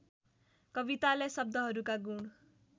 कवितालाई शब्दहरूका गुण